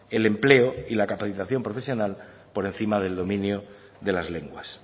el empleo y la capacitación profesional por encima del dominio de las lenguas